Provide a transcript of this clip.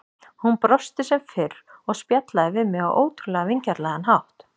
Hún brosti sem fyrr og spjallaði við mig á ótrúlega vingjarnlegan hátt.